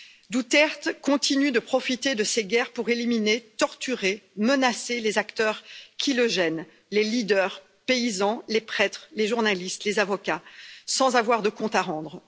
Duterte continue de profiter de cette guerre pour éliminer, torturer, menacer les acteurs qui le gênent les leaders, les paysans, les prêtres, les journalistes, les avocats sans avoir de comptes à rendre.